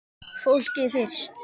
Fólkið fyrst!